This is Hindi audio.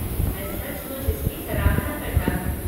मैं सचमुच इसकी सराहना करता हूँ।